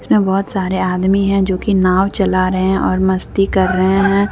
इसमें बहुत सारे आदमी है जोकि नाव चला रहे है और मस्ती कर रहे हैं।